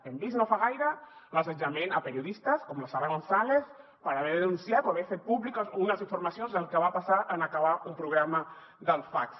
hem vist no fa gaire l’assetjament a periodistes com la sara gonzàlez per haver denunciat o haver fet públiques unes informacions del que va passar en acabar un programa del faqs